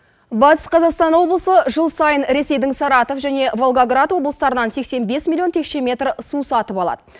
батыс қазақстан облысы жыл сайын ресейдің саратов және волгоград облыстарынан сексен бес миллион текше метр су сатып алады